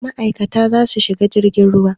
Ma'aikata za su shiga jirgin ruwa.